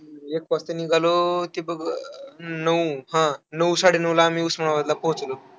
एक वाजता निघालो, ते बघ नऊ हां, नऊ-साडेनऊला आम्ही उस्मानाबादला पोहोचलो.